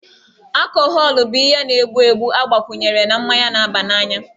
Akọhọlụ bụ ihe na-egbu egbu agbakwunyere na mmanya na-abananya